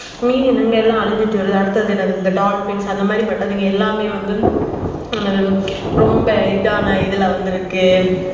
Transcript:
மீன் இனங்கள் எல்லாம் அழிஞ்சிட்டு வருது அடுத்து என்னனா dolphin அந்த மாதிரி பட்டதுங்க எல்லாமே ரொம்ப இதனா இதுல வந்துருக்கு